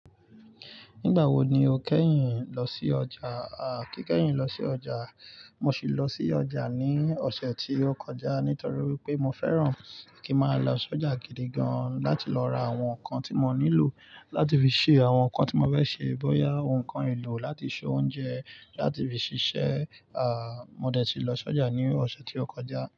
Nígbà wo ni o kẹ́yìn lọ sí ọjà? Àá, kí kẹ́yìn lọ sí ọjà, mo sì lọ sí ọjà ní ọ̀sẹ̀ tí ó kọjá nítorí wipé mo fẹ́ràn kí n máa lọ sọ́jà gidi gan láti lọ ra àwọn nǹkan tí mo nílò láti fi ṣe àwọn nǹkan tí mo fẹ́ ṣe, bóyá òǹkan. Elò láti se oúnjẹ, láti fi ṣiṣẹ́. Àá, mo dẹ̀ tí lọ sọ́jà ní ọ̀sẹ̀ tí ó kọjá.